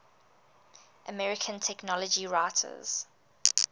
american technology writers